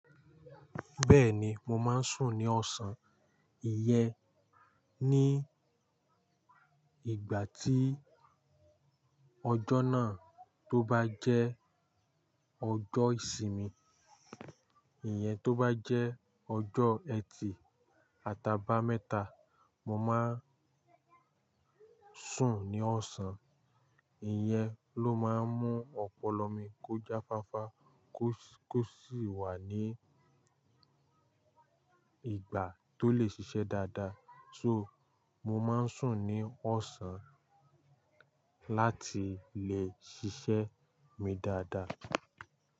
Bẹ́ẹ̀ni mo máa ń sùn ní ọ̀sán. Ìyẹ́n ní ìgbà tí ọjọ́ náà tó bá jẹ́ ọjọ́ ìsinmi, ìyẹn tó bá jẹ́ ọjọ́ ẹtì àtàbà mẹ́ta, mo máa sùn ní ọ̀sán. Ìyẹ́n ló máa ń mú ọpọlọ mi kọ jáfáfá kó sì wà ní ìgbà tó lè ṣiṣẹ́ dáadáa. So mo máa ń sùn ní ọ̀sán láti lè ṣiṣẹ́ mi dáadáa.